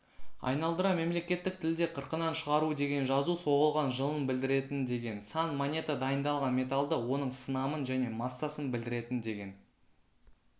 айналдыра мемлекеттік тілде қырқынан шығару деген жазу соғылған жылын білдіретін деген сан монета дайындалған металды оның сынамын және массасын білдіретін деген